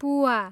पुआ